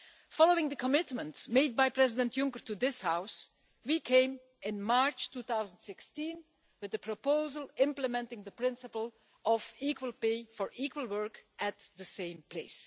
Following the commitments made by President Juncker to this House, we came in March 2016 with a proposal implementing the principle of equal pay for equal work at the same place.